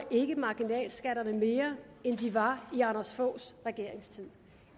marginalskatterne til mere end de var i anders foghs regerings tid